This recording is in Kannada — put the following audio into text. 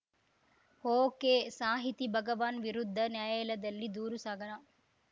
ಒಕೆಸಾಹಿತಿ ಭಗವಾನ್‌ ವಿರುದ್ಧ ನ್ಯಾಯಾಲಯದಲ್ಲಿ ದೂರು ಸಾಗರ